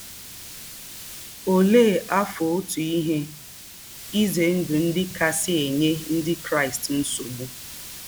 Ólẹ́ àfọ́tụ̀ íhè ízè ndụ́ ndí́ kásị̀ ênyè Ndí́ Kráịst nsọ̀bụ̀?